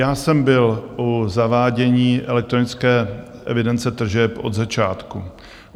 Já jsem byl u zavádění elektronické evidence tržeb od začátku.